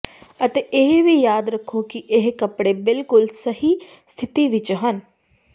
ਅਤੇ ਇਹ ਵੀ ਯਾਦ ਰੱਖੋ ਕਿ ਇਹ ਕੱਪੜੇ ਬਿਲਕੁਲ ਸਹੀ ਸਥਿਤੀ ਵਿੱਚ ਹਨ